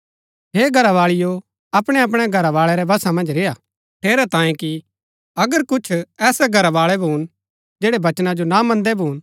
हे घरावाळिओ अपणैअपणै घरवाळै रै वशा मन्ज रेय्आ ठेरैतांये कि अगर कुछ ऐसै घरावाळै भून जैड़ै वचना जो ना मन्दै भून